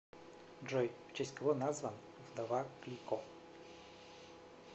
джой в честь кого назван вдова клико